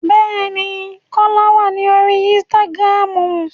Bẹ́ẹ̀ ni, Kọ́lá wà ní orí ínísítágírámù